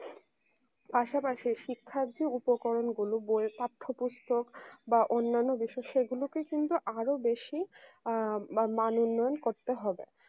পাশাপাশি শিক্ষার্থীর উপকরণ গুলো বই পাঠ্যপুস্তক বা অন্যান্য বিষসয় গুলোকে কিন্তু আরো বেশি আ বা মান উন্নয়ন করতে হবে